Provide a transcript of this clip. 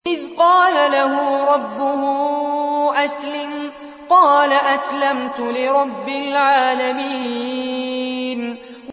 إِذْ قَالَ لَهُ رَبُّهُ أَسْلِمْ ۖ قَالَ أَسْلَمْتُ لِرَبِّ الْعَالَمِينَ